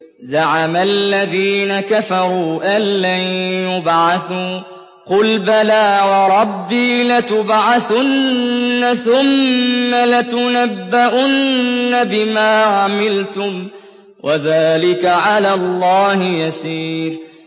زَعَمَ الَّذِينَ كَفَرُوا أَن لَّن يُبْعَثُوا ۚ قُلْ بَلَىٰ وَرَبِّي لَتُبْعَثُنَّ ثُمَّ لَتُنَبَّؤُنَّ بِمَا عَمِلْتُمْ ۚ وَذَٰلِكَ عَلَى اللَّهِ يَسِيرٌ